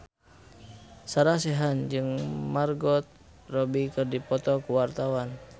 Sarah Sechan jeung Margot Robbie keur dipoto ku wartawan